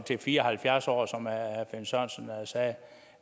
fire og halvfjerds år som herre finn sørensen sagde